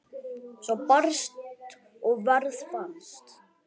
Svar barst og verð fannst.